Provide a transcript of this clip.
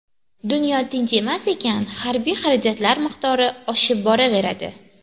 Dunyo tinchimas ekan, harbiy xarajatlar miqdori oshib boraveradi.